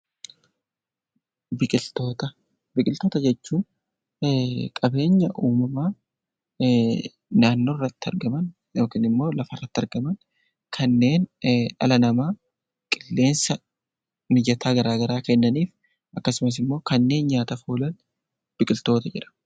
Biqiltoota jechuun qabeenya uumamaa naannoo irratti argaman yookiin immoo lafarratti argaman kanneen dhala namaaf qilleensa mijataa garaa garaa kennaniif akkasumas immoo kanneen nyaataaf oolan biqiltoota jedhamu.